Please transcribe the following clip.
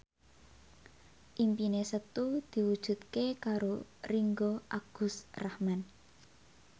impine Setu diwujudke karo Ringgo Agus Rahman